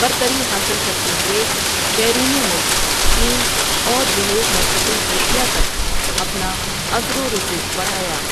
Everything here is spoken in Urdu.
برتری حاصل کرتے ہوئے بیرون ملک چین اور جنوب مشرقی ایشیا تک اپنا اثر و رسوخ بڑھایا۔